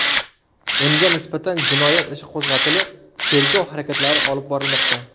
Unga nisbatan jinoyat ishi qo‘zg‘atilib, tergov harakatlari olib borilmoqda.